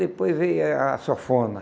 Depois veio a a sanfona.